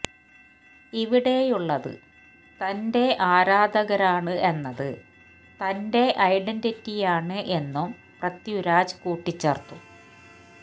ഇവിടെയുളളത് തന്റെ ആരാധകരാണ് എന്നത് തന്റെ ഐഡന്റിറ്റിയാണ് എന്നും പൃത്വിരാജ് കൂട്ടിച്ചേര്ത്തു